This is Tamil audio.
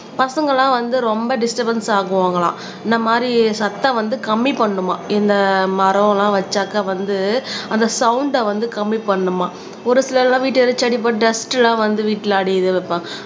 பசங்கள்லாம் வந்து ரொம்ப டிஸ்டபென்ஸ் ஆகுவாங்கலாம் இந்த மாதிரி சத்தம் வந்து கம்மி பண்ணணுமாம் இந்த மரம்லாம் வச்சாக்கா வந்து அந்த சவுண்ட வந்து கம்மி பண்ணணுமாம் ஒரு சிலர் எல்லாம் பட்டு டஸ்ட் எல்லாம் வந்து வீட்டுல அடையுது வைப்பாங்க